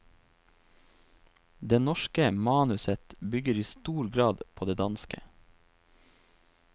Det norske manuset bygger i stor grad på det danske.